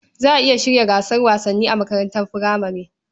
Za a iya shirya gasar wasanni a makarantar furamare.